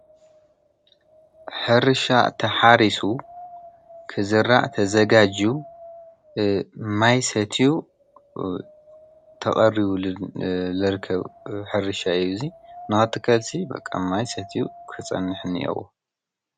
ሕርሻ ተሓሪሱ ክዝራሕ ተዘጋጅዩ ማይ ሰትዩ ተቐሪቡሉ ዝርከብ ሕርሻ እዩ እዚ፡፡ ንኽትከልሲ ማይ ሰትዩ ክፀንሕ እኒሀዎ፡፡